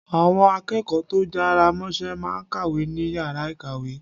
Àwọn akẹ́kọ̀ọ́ tó jára mọ́ṣẹ́ máa kàwé ní Yàrá ìkàwé.